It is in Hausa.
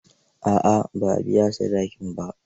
A'a, ba a biya sadakin ba.